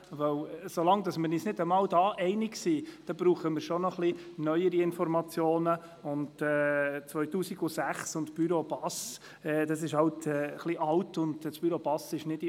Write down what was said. Solange wir uns nicht einmal darin einig sind, benötigen wir neuere Informationen als jene aus der Studie des Büros für arbeits- und sozialpolitische Studien BASS zum Jahr 2006.